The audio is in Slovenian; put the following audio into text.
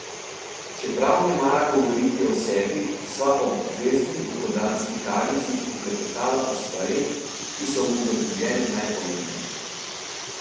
Čeprav ne mara govoriti o sebi, sva ob obvezni dopoldanski kavici poklepetala o stvareh, ki so mu v življenju najpomembnejše.